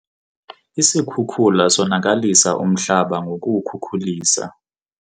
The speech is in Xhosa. Isikhukula sonakalisa umhlaba ngokuwukhukulisa.